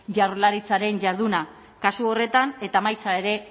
jaurlaritzaren jarduna kasu horretan eta emaitza ere